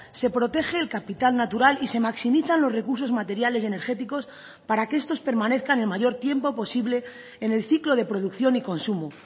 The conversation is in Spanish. se protege el capital natural y se maximizan los recursos materiales y energéticos para que estos permanezcan el mayor tiempo posible en el ciclo de producción y consumo